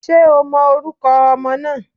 Ṣé o mọ orúkọ ọmọ náà?